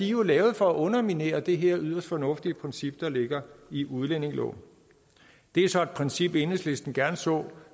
jo lavet for at underminere det her yderst fornuftigt princip der ligger i udlændingeloven det er så et princip enhedslisten gerne så